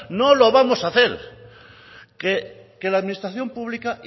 no lo vamos a hacer que la administración pública